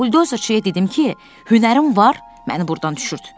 Buldozerçiyə dedim ki, hünərin var, məni burdan düşürt.